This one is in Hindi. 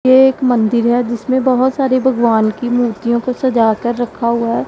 ये एक मंदिर है जिसमें बहोत सारे भगवान की मूर्तियों को सजा कर रखा हुआ है।